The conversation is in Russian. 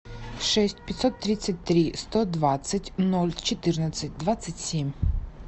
шесть пятьсот тридцать три сто двадцать ноль четырнадцать двадцать семь